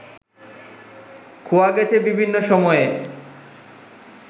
খোয়া গেছে বিভিন্ন সময়ে